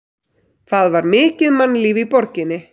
Það var mikið mannlíf í borginni.